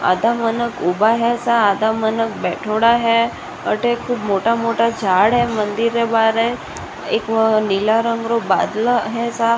आट मने उबा है सा आधा मने बैठाडा है आटे खूब मोटा मोटा झाड़ है मंदिर है बाहर एक नीला रंग रो बादला है।